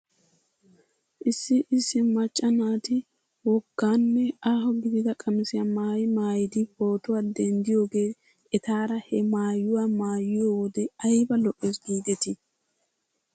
Issi issi macca naati wogganne aaho gidida qamisiyaa maayi maayidi pootuwaa denddiyoogee etaara he maayuwa maayiyoo wode ayba lo'ees giidetii